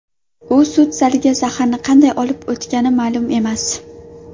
U sud zaliga zaharni qanday olib o‘tgani ma’lum emas.